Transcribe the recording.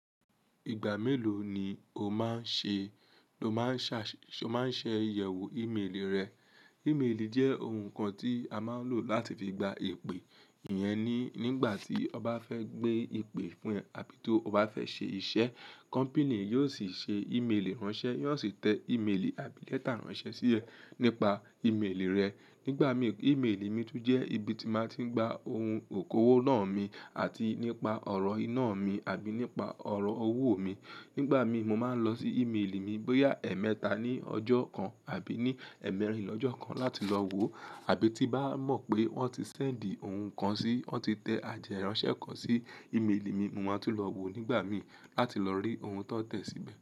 Ìgbà mélòó ni o máa ń ṣẹ, lo máa ń ṣà, ṣe o máa ń ṣe iyẹwo íméèlì rẹ? Íméèlì jẹ́ ohun kan tí a máa ń lò láti fi gba ìpè. Iyẹn ní, nígbà tí ọn ba fẹ́ gbé ìpè fún ẹ àbí tó o bá fẹ́ ṣe iṣẹ́, kọ́mpìnì yóò sì ṣe íméèlì ránṣẹ́, yóo sì tẹ íméèlì àbí lẹ́tà ránṣẹ́ sí ẹ nípa íméèlì rẹ. Nígbà mii, íméèlì mi tún jẹ́ ibi tí màá tí ń gba ohun òkòwò ná mi àti nípa ọ̀rọ̀ iná mi àbí nípa ọ̀rọ̀ owó mi. Nígbà mii, mo máa ń lọ sí íméèlì mi bóyá ẹẹ́mẹ́ta ní ọjọ́ kan àbí ní ẹ̀ẹ̀mẹ́rin lọjọ́ kan láti lọ woo, àbí tí bá mọ̀ pé wọ́n ti sẹ́ǹdì ohun kan sí, wọ́n ti tẹ àteránṣẹ́ kan sí íméèlì mi, mo máa tún lọ woo nígbà mii láti lọ rí ohun tón tẹ̀ síbẹ̀.